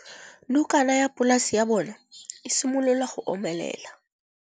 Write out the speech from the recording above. Nokana ya polase ya bona, e simolola go omelela.